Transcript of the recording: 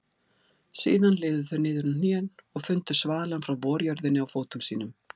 Síðan liðu þau niður á hnén og fundu svalann frá vorjörðinni á fótum sínum.